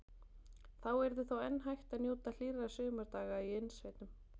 Þá yrði þó enn hægt að njóta hlýrra sumardaga í innsveitum.